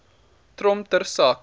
trom ter sake